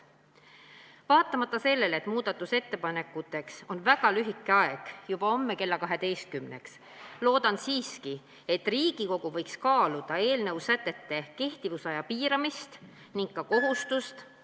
Vaatamata sellele, et muudatusettepanekuteks on väga lühike aeg, need tuleb esitada juba homme kella 12-ks, loodan siiski, et Riigikogu võiks kaaluda eelnõu sätete kehtivuse aja piiramist ning ka kohustust ...